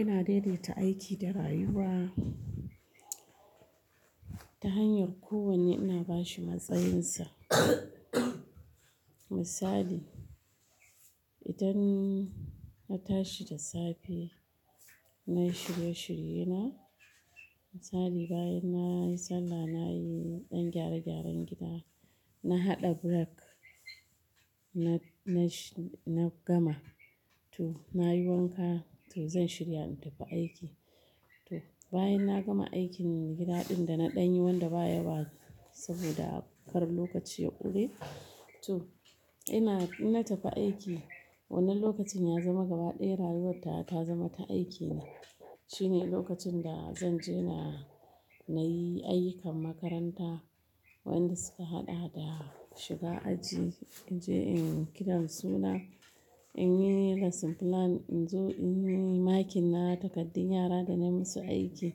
Ina daidaita aiki da rayuwa ta hanyar kowanne ina ba shi matsayinsa. Misali, idan na tashi da safe, na yi shirye-shirye na. Misali, bayan na yi sallah, na yi ɗan gyare-gyaren gida. Na haɗa burak, na-na sh-- na gama, to, na yi wanka, to zan shirya in tafi aiki. To, bayan na gama aikin gida ɗin da na ɗan yi wanda ba yawa saboda kar lokaci ya ƙure. To, ina- in na tafi aiki. Wannan lokacin ya zama gaba ɗaya rayuwar tawa ta zama ta aiki ne. Shine lokacin da zan je na, na yi ayyukan makaranta wanda suka haɗa da shiga aji, in je in kiran suna, in yi lesson plan, in zo in yi makin na takardun yara da na musu aiki.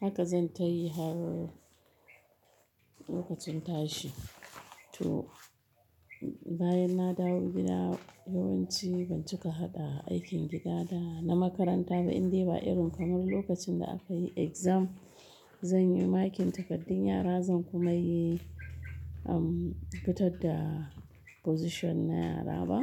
Haka zan tayi har lokacin tashi. To, bayan na dawo gida, yawanci ban cika haɗa aikin gida da na makaranta ba in dai ba irin kamar lokacin da aka yi exam. Zan yi makin takardun yara, zan kuma yi, um, fitar da position na yara ba.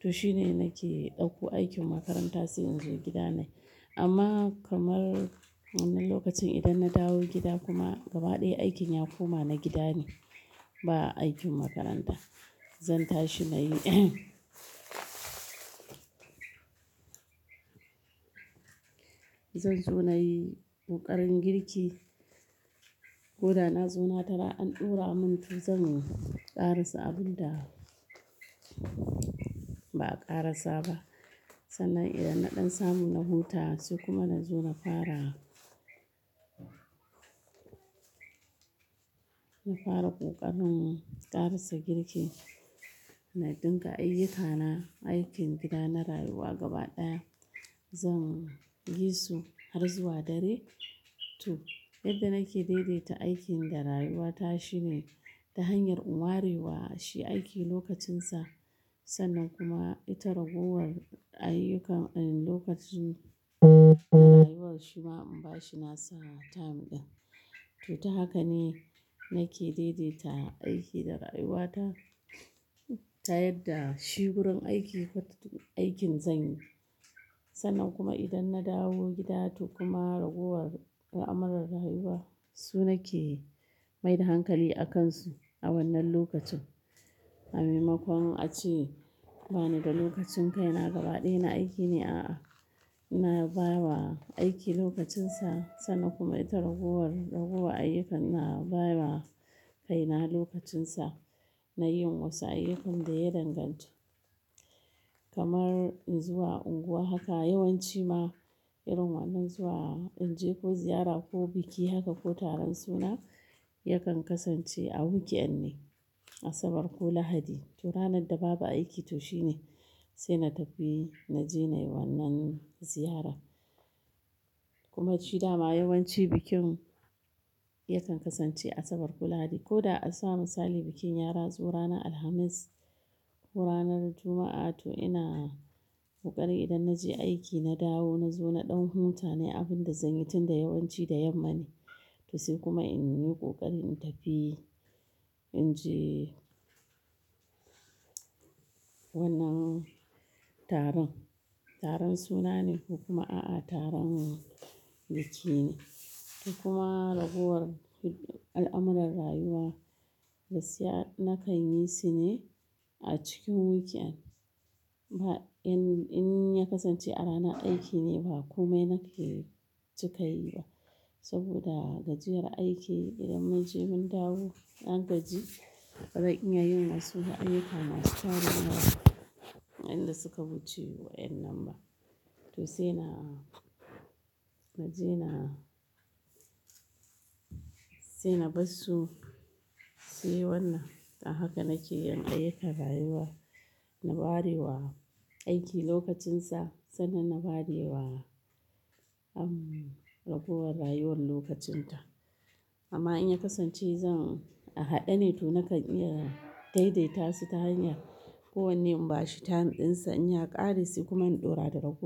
To shine nake ɗauko aikin makaranta sai in zo gida na yi. Amma kamar wannan lokacin idan na dawo gida kuma gaba ɗaya aikin ya koma na gida ne, ba aikin makaranta. Zan tashi na yi zan zo na yi ƙoƙarin girki. Ko da na zo na tara an ɗura mun, to zan ƙara sa abun da ba a ƙara sa ba. Sannan idan na ɗan samu na huta sai kuma na zo na fara, na fara ƙoƙarin ƙarasa girki. Na ɗinka ayyukana, aikin gida na rayuwa gaba ɗaya. Zan yi su har zuwa dare. To, yadda nake daidaita aikin da rayuwa ta shine ta hanyar in warewa shi aiki lokacinsa. Sannan kuma ita ragowar ayyukan a lokacin ta rayuwar shi ma in ba shi nasa time ɗin. To, ta haka ne nake daidaita aiki da rayuwa ta. Ta yadda shi gurin aiki fatutu-- aikin zan yi. Sannan kuma idan na dawo gida to kuma ragowar al'amuran rayuwa su nake mai da hankali a kansu a wannan lokacin. A maimakon a ce bani da lokacin kai na gaba ɗaya na aiki ne, a'a. Ina bawa aiki lokacinsa sannan kuma ita ragowar, ragowa ayyukan ina baiwa kai na lokacinsa na yin wasu ayyukan da ya danganci. Kamar in zuwa unguwa haka yawanci ma irin wannan zuwa in je ko ziyara ko biki haka ko taron suna yakan kasance a weekend ne, Asabar ko Lahadi. To ranar da babu aiki to shi ne sai na tafi, na je na yi wannan ziyara. Kuma shi dama yawanci bikin yakan kasance Asabar ko Lahadi. Ko da a sa misali bikin yara zo ranar Alhamis ko ranar Juma'a, to ina ƙoƙari idan na je aiki, na dawo, na zo na ɗan huta na yi abin da zan yi tun da yawanci da yamma ne. To sai kuma in yi ƙoƙari in tafi, in je wannan taron. Taron suna ne ko kuma a'a taron biki ne. To kuma ragowar al'amuran rayuwa gaskiya na kan yi su ne a cikin weekend. Ba in, in ya kasance a ranar aiki ne ba kome na ke cika yi ba. Saboda gajiyar aiki idan mun je mun dawo na gaji, ba ran iya yin wasu ayyuka masu tasiri wadanda suka wuce wa'in nan ba. To sai na, na je na, sai na bar su. Sai wannan, a haka nake yin ayyukan rayuwa. Na warewa aiki lokacinsa sannan na warewa, um, ragowar rayuwar lokacinta. Amma in ya kasance zan a haɗe ne to nakan iya daidaita su ta hanya kowanne in ba shi time ɗinsa in ya ƙare sai kuma in ɗora da rago--.